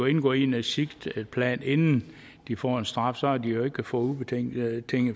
indgår i en exitplan inden de får en straf så har de jo ikke fået ubetinget